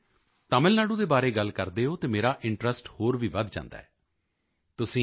ਜਦੋਂ ਵੀ ਤੁਸੀਂ ਤਮਿਲ ਨਾਡੂ ਦੇ ਬਾਰੇ ਗੱਲ ਕਰਦੇ ਹੋ ਤਾਂ ਮੇਰਾ ਇੰਟਰੈਸਟ ਹੋਰ ਵੀ ਵਧ ਜਾਂਦਾ ਹੈ